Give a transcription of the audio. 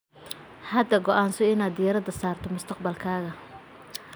Hadda go'aanso inaad diirada saarto mustaqbalkaaga.